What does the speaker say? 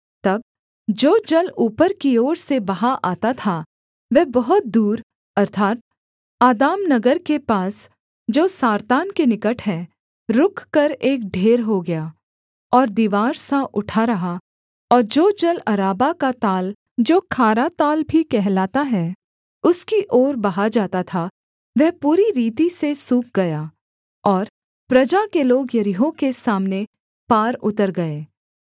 तब जो जल ऊपर की ओर से बहा आता था वह बहुत दूर अर्थात् आदाम नगर के पास जो सारतान के निकट है रुककर एक ढेर हो गया और दीवार सा उठा रहा और जो जल अराबा का ताल जो खारा ताल भी कहलाता है उसकी ओर बहा जाता था वह पूरी रीति से सूख गया और प्रजा के लोग यरीहो के सामने पार उतर गए